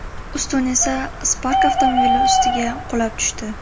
Ustun esa Spark avtomobili ustiga qulab tushdi.